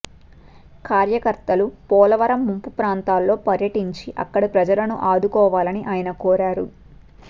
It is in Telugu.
కార్యకర్తలు పోలవరం ముంపు ప్రాంతాల్లో పర్యటించి అక్కడి ప్రజలను ఆదుకోవాలని ఆయన కోరారు